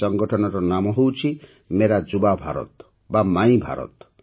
ଏହି ସଂଗଠନର ନାମ ହେଉଛି ମେରା ଯୁବା ଭାରତ ବା ମାଇ୍ ଭାରତ